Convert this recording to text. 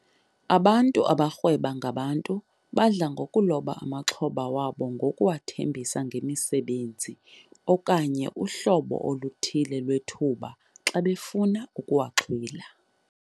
Abantu abarhweba ngabantu badla ngokuloba amaxhoba wabo ngokuwathembisa ngemisebenzi okanye uhlobo oluthile lwethuba xa befuna ukuwaxhwila.